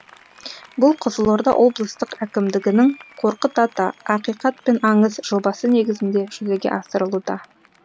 бұл қызылорда облыстық әкімдігінің қорқыт ата ақиқат пен аңыз жобасы негізінде жүзеге асырылуда